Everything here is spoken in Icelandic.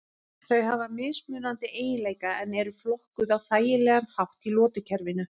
Þau hafa mismunandi eiginleika en eru flokkuð á þægilegan hátt í lotukerfinu.